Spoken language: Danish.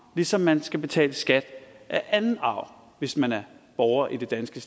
ligesom man skal betale skat af anden arv hvis man er borger i det danske